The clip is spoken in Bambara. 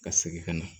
Ka segin ka na